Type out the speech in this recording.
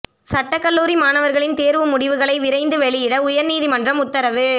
சட்டக் கல்லூரி மாணவா்களின் தோ்வு முடிவுகளை விரைந்து வெளியிட உயா்நீதிமன்றம் உத்தரவு